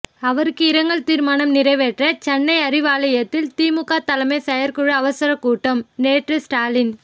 அவருக்கு இரங்கல் தீர்மானம் நிறைவேற்ற சென்னை அறிவாலயத்தில் திமுக தலைமை செயற்குழு அவசரக்கூட்டம் நேற்று ஸ்டாலின்